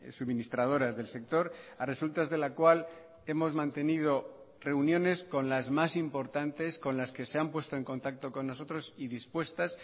suministradoras del sector a resultas de la cual hemos mantenido reuniones con las más importantes con las que se han puesto en contacto con nosotros y dispuestas